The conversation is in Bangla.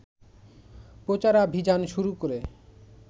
প্রচারাভিযান শুরু করে